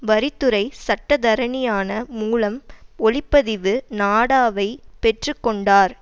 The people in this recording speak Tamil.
வரித்துறை சட்டத்தரணியான மூலம் ஒளிப்பதிவு நாடாவை பெற்று கொண்டார்